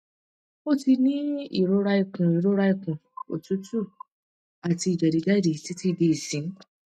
o ti ni irora ikun irora ikun otutu ati jedijedi titi di isin